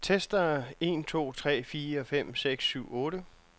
Tester en to tre fire fem seks syv otte.